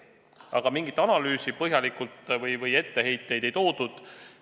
Aga mingit põhjalikku analüüsi või etteheiteid ei toodud.